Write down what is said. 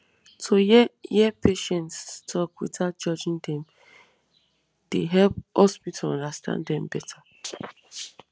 to hear hear patients talk without judging dem dey help hospital understand dem better